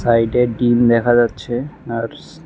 সাইডে ডিম দেখা যাচ্ছে আর--